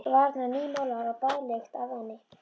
Varirnar nýmálaðar og baðlykt af henni.